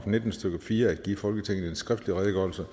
nitten stykke fire at give folketinget en skriftlig redegørelse